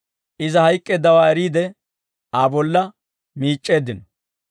Iza hayk'k'eeddawaa eriide Aa bolla miic'c'eeddino.